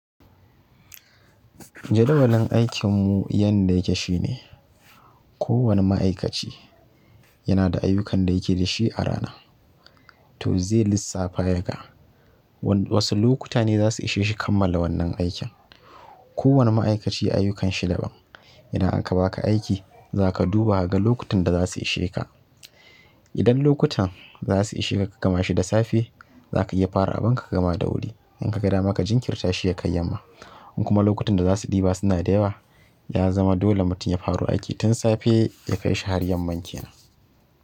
Jadawalin aikin mu yanda yake shine, ko wani ma'aikaci yana da ayyukan da yake da shi a rana. To zai lissafa ya ga wasu lokuta ne za su ishe shi kammala wannan aikin. Ko wani ma'aikaci ayyukanshi daban. Indan aka baka aiki, za ka duba kaga lokutan da za su ishe ka. Idan lokutan za su ishe ka, ka gama shi da safe, za ka iya fara abun ka, ka gama da wuri. In ka ga dama ka jinkirta shi ya kai yamma. In kuma lokutan da za su ɗiba suna da yawa, ya zama dole mutum ya fara aiki tun safe ya kaishi har yamman kenan.